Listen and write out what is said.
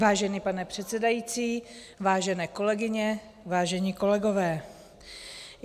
Vážený pane předsedající, vážené kolegyně, vážení kolegové.